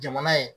Jamana ye